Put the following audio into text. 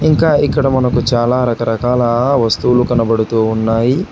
ఇంకా ఇక్కడ మనకు చాలా రకరకాల వస్తువులు కనబడుతూ ఉన్నాయి.